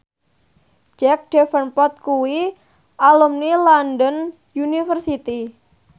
Jack Davenport kuwi alumni London University